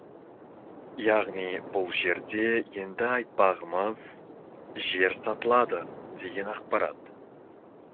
яғни бұл жерде енді айтпағымыз жер сатылады деген ақпарат